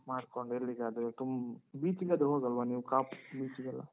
Free ಮಾಡ್ಕೊಂಡ್ ಎಲ್ಲಿಗಾದ್ರೂ ಆಯ್ತ್ beach ಗಾದ್ರೂ ಹೋಗಲ್ವ ನೀವು ಕಾಪು beach ಗೆಲ್ಲ?